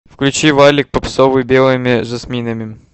включи валик попсовый белыми жасминами